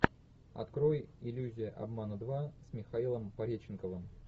открой иллюзия обмана два с михаилом пореченковым